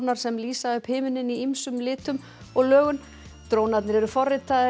sem lýsa upp himininn í ýmsum litum og lögun drónarnir eru forritaðir